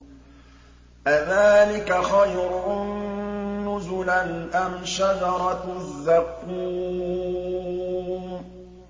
أَذَٰلِكَ خَيْرٌ نُّزُلًا أَمْ شَجَرَةُ الزَّقُّومِ